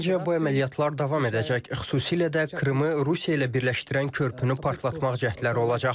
Məncə, bu əməliyyatlar davam edəcək, xüsusilə də Krımı Rusiya ilə birləşdirən körpünü partlatmaq cəhdləri olacaq.